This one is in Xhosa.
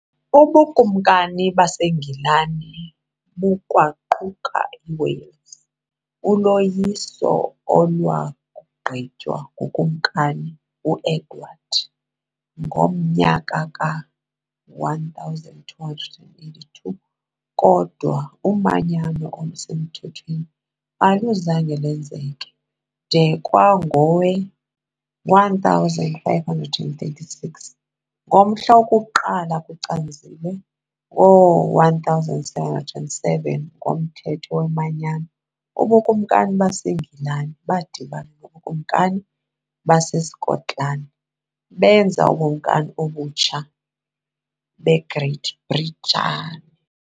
Ubukumkani baseNgilani bukwaquka iWales, uloyiso olwagqitywa nguKumkani u-Edward I ngo-1282, kodwa umanyano olusemthethweni aluzange lwenzeke de kwangowe-1536. Ngomhla woku-1 kuCanzibe ngo-1707, ngoMthetho weManyano, ubukumkani baseNgilani badibana nobukumkani baseSkotlani benza uBukumkani obutsha beGreat Britain.